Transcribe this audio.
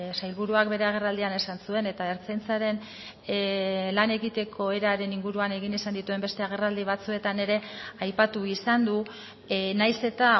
sailburuak bere agerraldian esan zuen eta ertzaintzaren lan egiteko eraren inguruan egin izan dituen beste agerraldi batzuetan ere aipatu izan du nahiz eta